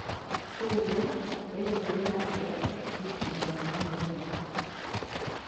Syria ĩraingĩrĩra atĩa nditimũrano-inĩ ino?